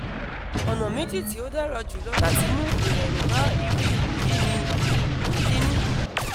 ona meji ti odara julo lati mu irorun ba iru ipo yi ni - ikini